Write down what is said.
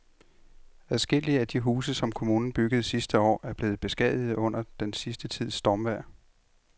Adskillige af de huse, som kommunen byggede sidste år, er blevet beskadiget under den sidste tids stormvejr.